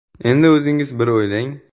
Endi o‘zingiz bir o‘ylang.